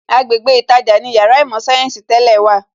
Agbègbè ītajà ni Yàrá īmò sayensi tẹ́lẹ̀ wà